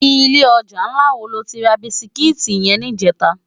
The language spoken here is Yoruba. Ilè òjá nlá wó ló ti rá bisikiti yèn nijètá?